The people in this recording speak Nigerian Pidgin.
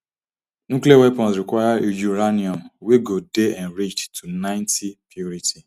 nuclear weapons require uranium wey go dey enriched to ninety purity